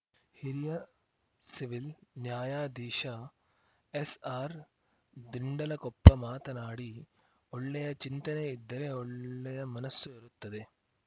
ಹಿರಿಯ ಸಿವಿಲ್ ನ್ಯಾಯಾಧೀಶ ಎಸ್‌ಆರ್‌ ದಿಂಡಲಕೊಪ್ಪ ಮಾತನಾಡಿ ಒಳ್ಳೆಯ ಚಿಂತನೆ ಇದ್ದರೆ ಒಳ್ಳೆಯ ಮನಸ್ಸು ಇರುತ್ತದೆ